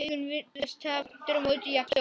Augun virðast aftur á móti jafn stór.